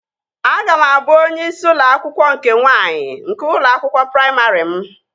Aga m abụ onye isi ụlọ akwụkwọ nke nwaanyị nke ụlọ akwụkwọ praimarị m